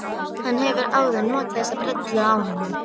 Hann hefur áður notað þessa brellu á hana.